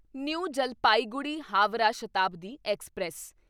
new Jalpaiguri Howrah Shatabdi express